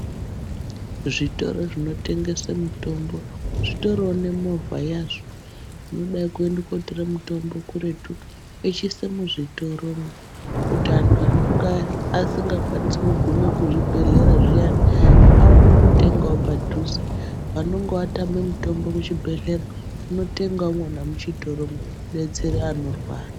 Zvitoro zvinotengese mitombo, zvitoriwo nemovha yazvo inodai kuende kotore mitombo kuretu yechiise muzvitoromo kuti antu anenge asingakwanisi kugume kuzvibhedhlera zviyani vaonewo kutengawo padhuze. Vanonge vatame mitombo kuchibhedhlera votenge umona muchitoromo kudetsera vanorwara.